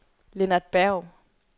Lennart Berg